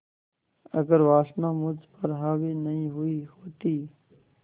अगर वासना मुझ पर हावी नहीं हुई होती